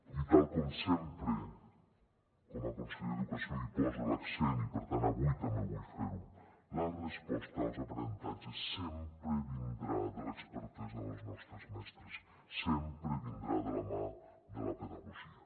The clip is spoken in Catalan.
i tal com sempre com a conseller d’educació hi poso l’accent i per tant avui també vull fer ho la resposta als aprenentatges sempre vindrà de l’expertesa dels nostres mestres sempre vindrà de la mà de la pedagogia